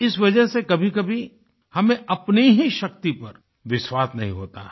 इस वजह से कभीकभी हमें अपनी ही शक्ति पर विश्वास नहीं होता है